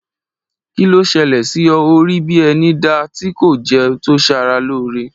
Kí ló ṣẹlẹ̀ sí ọ, ọ rí bíi ẹni da tí kò jẹun to saralóore